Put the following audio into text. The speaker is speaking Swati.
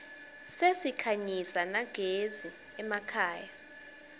sesikhanyisa nagezi emakhaya